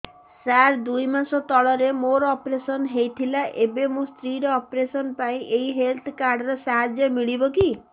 ସାର ଦୁଇ ମାସ ତଳରେ ମୋର ଅପେରସନ ହୈ ଥିଲା ଏବେ ମୋ ସ୍ତ୍ରୀ ର ଅପେରସନ ପାଇଁ ଏହି ହେଲ୍ଥ କାର୍ଡ ର ସାହାଯ୍ୟ ମିଳିବ କି